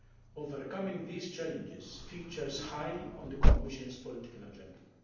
Overcoming these challenges features high on the Commission's political agenda.